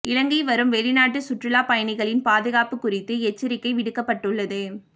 இலங்கை வரும் வெளிநாட்டு சுற்றுலா பயணிகளின் பாதுகாப்பு குறித்து எச்சரிக்கை விடுக்கப்பட்டுள்ளது